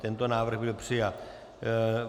Tento návrh byl přijat.